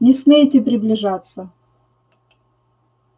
не смейте приближаться